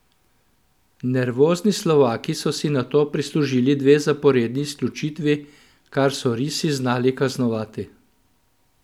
Nervozni Slovaki so si nato prislužili dve zaporedni izključitvi, kar so risi znali kaznovati.